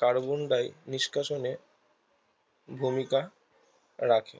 carbon ডাই নিষ্কাশনে ভূমিকা রাখে